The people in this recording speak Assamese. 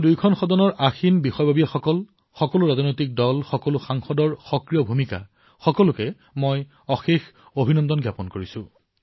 মই দুয়োটা সদনৰ সকলো অধিকাৰী সকলো ৰাজনৈতিক দলক সকলো সাংসদক তেওঁলোকৰ এই সক্ৰিয় ভূমিকাৰ বাবে অশেষ অভিনন্দন জনাইছো